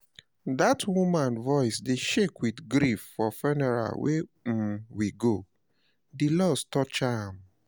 Dat woman voice dey shake with grief for funeral wey um we go, di loss touch am